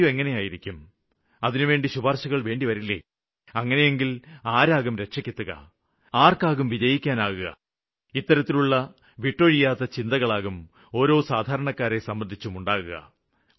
interview എങ്ങിനെയായിരിക്കും അതിനുവേണ്ടി ശുപാര്ശകള് വേണ്ടിവരില്ലേ അങ്ങിനെയെങ്കില് ആരാകും രക്ഷയ്ക്കെത്തുക ആര്ക്കാകും വിജയിക്കാനാകുക ഇത്തരത്തിലുള്ള വിട്ടൊഴിയാത്ത ചിന്തകളാകും ഓരോ സാധാരണക്കാരനെ സംബന്ധിച്ചും ഉണ്ടാകുക